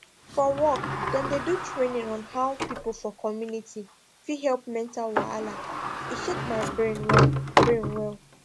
for work dem do training on how people for community fit help mental wahala e shake my brain well brain well